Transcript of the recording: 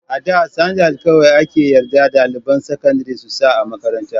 A da sandal kawai ake yarda ɗaliban sakandari su sa a makaranta.